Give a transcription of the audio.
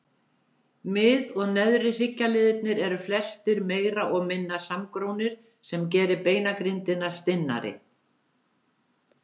Mið- og neðri hryggjarliðirnir eru flestir meira og minna samgrónir sem gerir beinagrindina stinnari.